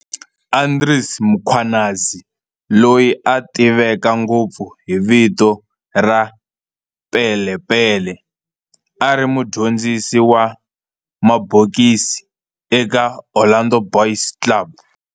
Andries Mkhwanazi, loyi a tiveka ngopfu hi vito ra Pele Pele, a ri mudyondzisi wa mabokisi eka Orlando Boys Club.